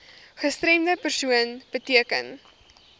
gestremde persoon beteken